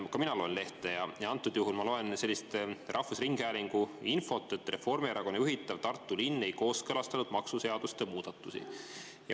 Ka mina loen lehte ja antud juhul ma loen sellist rahvusringhäälingu infot, et Reformierakonna juhitav Tartu linn ei kooskõlastanud maksuseaduste muudatusi.